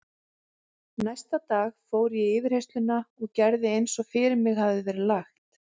Næsta dag fór ég í yfirheyrsluna og gerði eins og fyrir mig hafði verið lagt.